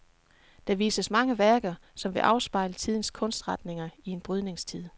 Der vises mange værker, som vil afspejle tidens kunstretninger i en brydningstid.